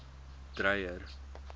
dreyer